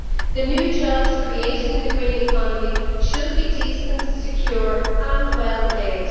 The new jobs created in the green economy should be decent, secure and well paid.